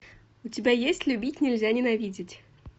у тебя есть любить нельзя ненавидеть